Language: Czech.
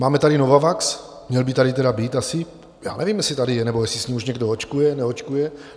Máme tady Novavax - měl by tady tedy být asi, já nevím, jestli tady je, nebo jestli s ním už někdo očkuje, neočkuje.